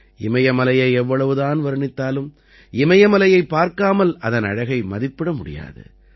இமயமலையை எவ்வளவுதான் வர்ணித்தாலும் இமயமலையைப் பார்க்காமல் அதன் அழகை மதிப்பிட முடியாது